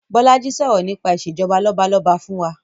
Bolaji sọ̀rọ̀ nípa Ìṣèjọba lọ́balọ́ba fún wa